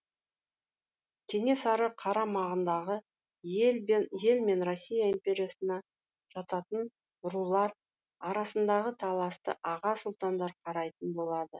кенесары қарамағындағы ел мен россия империясына жататын рулар арасындағы таласты аға сұлтандар қарайтын болады